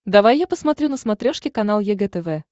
давай я посмотрю на смотрешке канал егэ тв